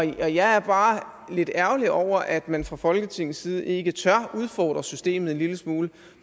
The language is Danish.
jeg er bare lidt ærgerlig over at man fra folketingets side ikke tør udfordre systemet en lille smule